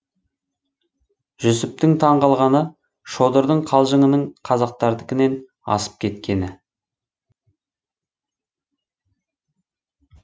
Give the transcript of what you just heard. жүсіптің таң қалғаны шодырдың қалжыңының қазақтардыкінен асып кеткені